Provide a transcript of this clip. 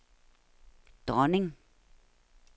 dronning